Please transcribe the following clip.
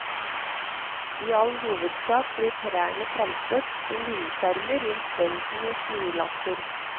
I all hovedsak blir trærne plantet som vindskjermer rundt bøndenes jordlapper.